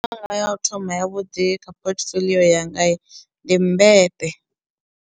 Yanga ya u thoma ya vhuḓi kha portfolio yanga ndi mmbete.